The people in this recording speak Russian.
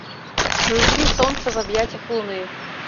включи солнце в объятьях луны